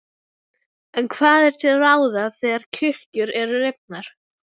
En hvað er til ráða þegar kirkjur eru rifnar?